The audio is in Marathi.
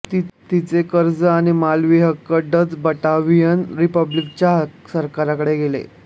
तिचे कर्ज आणि मालकीहक्क डच बटाव्हियन रिपब्लिकाच्या सरकारकडे गेले